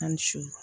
A ni su